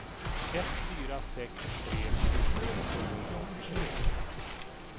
ett fyra sex tre tjugo sjuhundraåttiotre